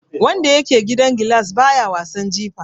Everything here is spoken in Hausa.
Wanda yake gidan gilas baya wasan jifa.